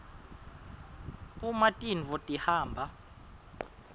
uma tintfo tihamba